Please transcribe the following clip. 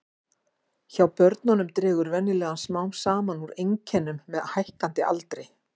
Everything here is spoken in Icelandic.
Hjá börnum dregur venjulega smám saman úr einkennum með hækkandi aldri.